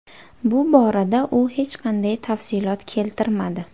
Bu borada u hech qanday tafsilot keltirmadi.